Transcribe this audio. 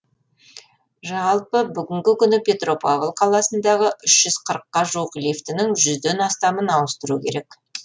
жалпы бүгінгі күні петропавл қаласындағы үш жүз қырыққа жуық лифтінің жүзден астамын ауыстыру керек